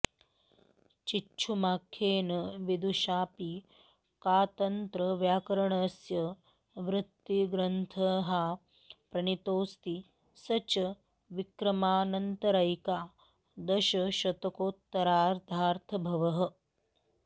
चिच्छुमाख्येन विदुषाऽपि कातन्त्रव्याकरणस्य वृत्तिग्रन्थः प्रणीतोऽस्ति स च विक्रमानन्तरैकादशशतकोत्तरार्द्धभवः